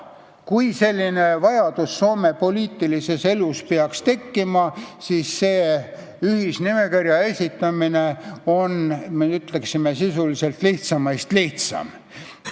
Kui selline vajadus Soome poliitilises elus peaks tekkima, siis see ühisnimekirja esitamine on, ütleksin, sisuliselt lihtsaimast lihtsam.